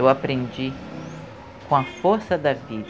Eu aprendi com a força da